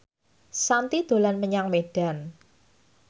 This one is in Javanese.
Shanti dolan menyang Medan